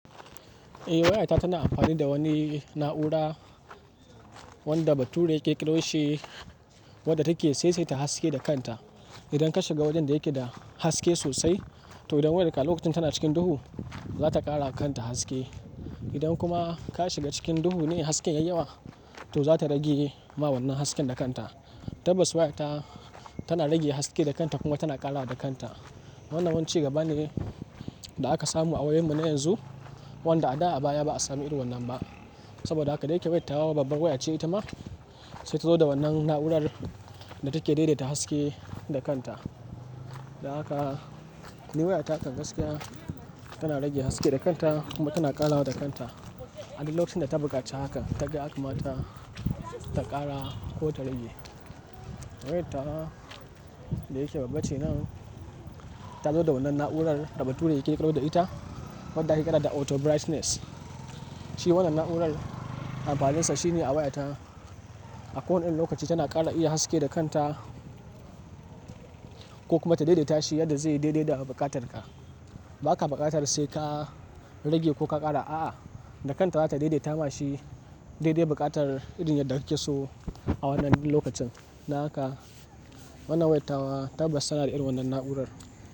Eh waya ita tana amfani da wani na'ura wanda bature yake kirkiroshi wadda take saisaita haske da kanta. Idan ka shiga wajen da yake da haske sosai to idan wayarka lokacin tana cikin duhu za ta kara kanta haske. Idan kuma ka shiga cikin duhu ne hasken ya yi yawa to za ta rage ma wannan hasken da kanta. Tabbas waya ta tana rage haske da kanta kuma tana ƙara da kanta. Wannan wani ci gaba ne da aka samu a wayoyinmu na yanzu wanda a da a baya ba a samu irin wannan ba. Saboda haka dai yake wayta wa babbar waya ce ita ma sai ta zo da wannan na'urar da take daidaita haske da kanta. Da haka ni waya takan gaskiya tana rage haske da kanta kuma tana ƙara da kanta. A duk lokacin da ta buƙaci haka ta ga ya kamata, ta ƙara ko ta rage. Wayar tawa da yake babba ce nan ta zo da wannan na'urar da bature yake ƙirkiro da ita wadda ake kira da auto brightness. Shi wannan na'urar amfaninsa shine a wayata a ko wani lokaci tana ƙara iya haske da kanta ko kuma ta daidaita shi yadda zai daidai da buƙatar ka. Ba ka buƙatar sai ka rage ko ka ƙara, a'a, da kanta za ta daidaita mashi daidai buƙatar irin yadda kake so a wannan lokacin. Da haka wannan wayar tawa tabbas tana da irin wannan na'urar.